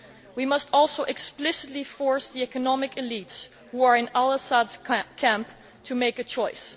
We must also explicitly force the economic elites who are in al Assad's camp to make a choice.